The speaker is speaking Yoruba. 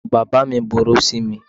Ìyàwó bàbá mi burú sí mi.